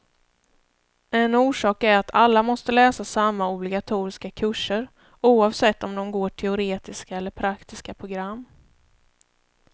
En orsak är att alla måste läsa samma obligatoriska kurser, oavsett om de går teoretiska eller praktiska program.